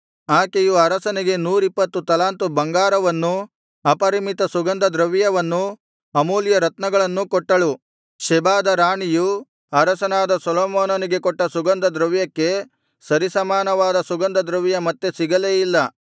ಆಕೆಯು ಅರಸನಿಗೆ ನೂರಿಪ್ಪತ್ತು ತಲಾಂತು ಬಂಗಾರವನ್ನೂ ಅಪರಿಮಿತ ಸುಗಂಧ ದ್ರವ್ಯವನ್ನೂ ಅಮೂಲ್ಯರತ್ನಗಳನ್ನೂ ಕೊಟ್ಟಳು ಶೆಬಾದ ರಾಣಿಯು ಅರಸನಾದ ಸೊಲೊಮೋನನಿಗೆ ಕೊಟ್ಟ ಸುಗಂಧದ್ರವ್ಯಕ್ಕೆ ಸರಿಸಮಾನವಾದ ಸುಗಂಧದ್ರವ್ಯ ಮತ್ತೆ ಸಿಗಲೇ ಇಲ್ಲ